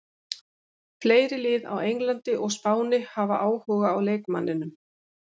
Fleiri lið á Englandi og Spáni hafa áhuga á leikmanninum.